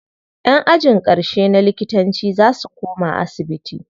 Ƴan ajin ƙarshe na likitanci za su koma asibiti.